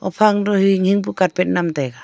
haphang duh hinghing pu carpet man taiya.